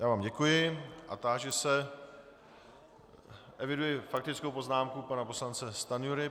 Já vám děkuji a táži se - eviduji faktickou poznámku pana poslance Stanjury.